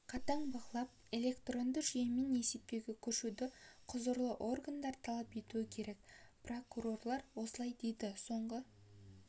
қатаң бақылап электронды жүйемен есептеуге көшуді құзырлы органдар талап етуі керек прокурорлар осылай дейді соңғы